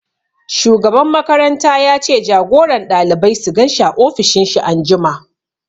Shugaban makaranta ya ce jagoran ɗalibai su gan shi a ofishin shi anjima